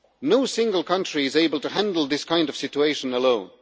No single country is able to handle this kind of situation alone.